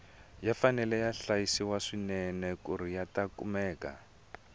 ya fanele ya hlayisiwa swinene kuri yata kumeka